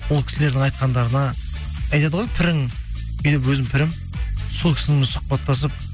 ол кісілердің айтқандарына айтады ғой пірің менің өзім пірім сол кісімен сұхбаттасып